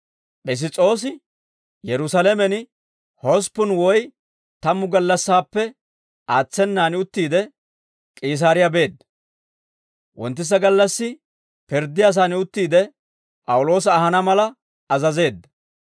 Piss's'oosi Yerusaalamen hosppun woy tammu gallassaappe aatsenan uttiide, K'iisaariyaa beedda; wonttisa gallassi pirddiyaasan uttiide, P'awuloosa ahana mala azazeedda.